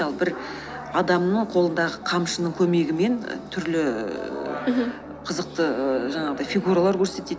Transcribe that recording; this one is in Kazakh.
ал бір адамның қолындағы қамшының көмегімен түрлі мхм қызықты жаңағыдай фигуралар көрсетеді